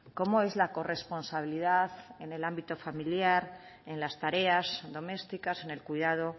como es la corresponsabilidad en el ámbito familiar en las tareas domésticas en el cuidado